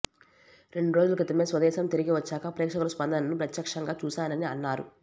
రెండు రోజుల క్రితమే స్వదేశం తిరిగి వచ్చాక ప్రేక్షకుల స్పందనను ప్రత్యక్షంగా చూశానని అన్నారు